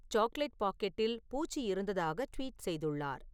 chocolate பாக்கெட்டில் பூச்சி இருந்ததாக ட்வீட் செய்துள்ளார்